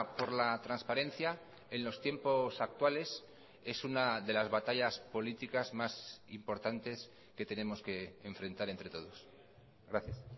por la transparencia en los tiempos actuales es una de las batallas políticas más importantes que tenemos que enfrentar entre todos gracias